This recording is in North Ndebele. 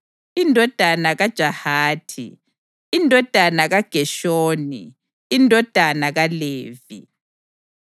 indodana kaJahathi, indodana kaGeshoni, indodana kaLevi;